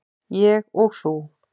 Ég og þú.